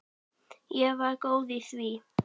Ég var góð í því.